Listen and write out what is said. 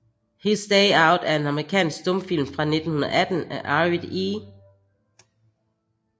His Day Out er en amerikansk stumfilm fra 1918 af Arvid E